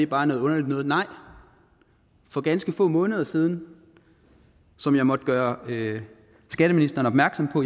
bare noget underligt noget nej for ganske få måneder siden som jeg måtte gøre skatteministeren opmærksom på